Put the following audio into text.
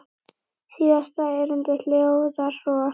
Síðasta erindið hljóðar svo